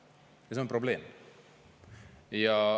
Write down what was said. Ja see on probleem.